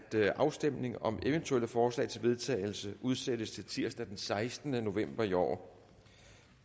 afstemning om eventuelle forslag til vedtagelse udsættes til tirsdag den sekstende november i år